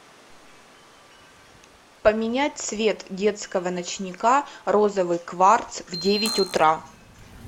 поменять цвет детского ночника розовый кварц в девять утра